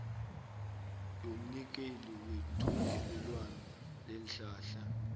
yomnikeli wethungelelwano leenhlahla